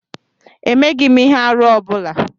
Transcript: Emeghm ihe-árú ọ bula.